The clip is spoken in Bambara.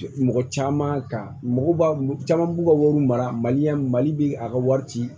Mɔgɔ caman ka mɔgɔ b'a caman b'u ka wariw mara mali la mali bɛ a ka wari ci